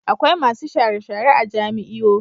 Akwai masu share-share a jami'io.